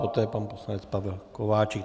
Poté pan poslanec Pavel Kováčik.